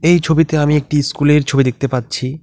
এই ছবিতে আমি একটি স্কুলের এর ছবি দেখতে পাচ্ছি।